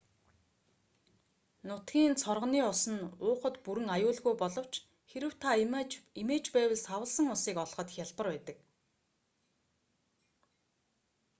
нутгийн цоргоны ус нь уухад бүрэн аюулгүй боловч хэрэв та эмээж байвал савласан усыг олоход хялбар байдаг